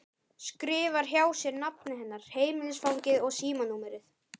Skrifar hjá sér nafnið hennar, heimilisfangið og símanúmerið.